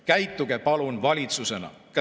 Käituge palun valitsusena!